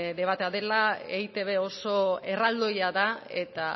debatea dela eitb oso erraldoia da eta